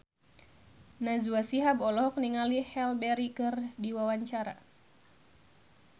Najwa Shihab olohok ningali Halle Berry keur diwawancara